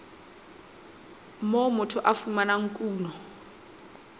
moo motho a fumanang kuno